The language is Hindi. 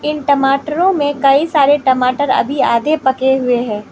इन टमाटरों में कई सारे टमाटर अभी आधे पके हुए हैं।